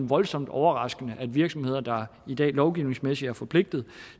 voldsomt overraskende at virksomheder der i dag lovgivningsmæssigt er forpligtet